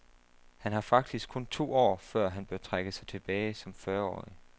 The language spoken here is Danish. Han har faktisk kun to år, før han bør trække sig tilbage som fyrreårig.